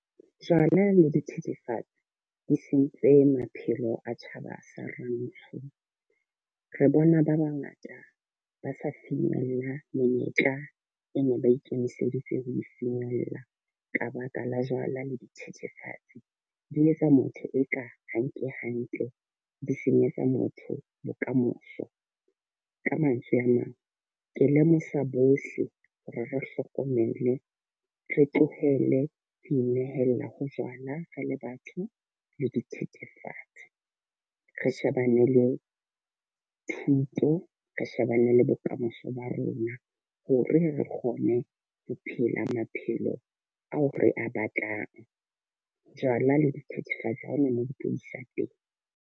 Jwala le dithethefatsi di sentse maphelo a tjhaba sa Rantsho. Re bona ba ba ngata ba sa finyella menyetla e ne ba ikemiseditse ho finyella ka baka la jwala le dithethefatsi. Di etsa motho e ka ha nke hantle di senyetsa motho bokamoso. Ka mantswe a mang ke lemosa bohle hore re hlokomele re tlohele ho inehella ho jwala re le batho le dithethefatsi. Re shebane le thuto, re shebane le bokamoso ba rona hore re kgone ho phela maphelo ao re a batlang. Jwala le dithethefatsi ha hona mo di tlo isa teng.